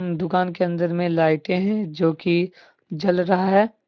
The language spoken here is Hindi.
दुकान के अंदर में लाइटें है जो कि जल रहा है।